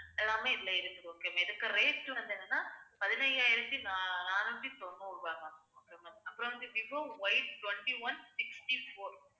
எல்லாமே இதுல இருக்கு okay ma'am இதுக்கு rate வந்து என்னன்னா பதினையாயிரத்தி நா~ நானூத்தி தொண்ணூறு ரூபாய் ma'am அப்புறம் வந்து விவோ Ytwenty-one sixty-four